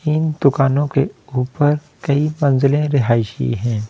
इन दुकानों के ऊपर कई मंज़िले रिहायशी हैं।